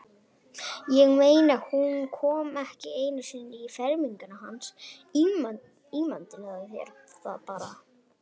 Ég meina, hún kom ekki einu sinni í ferminguna hans, ímyndaðu þér bara.